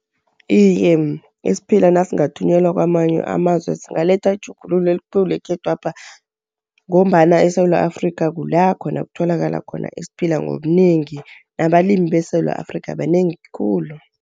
Iye, isiphila nasingathunyelwa kwamanye amazwe zingaletha itjhugululo elikhulu ekhethwapha, ngombana eSewula Afrika kula khona kutholakala khona isiphila ngobunengi, nabalimi beSewula Afrika banengi khulu.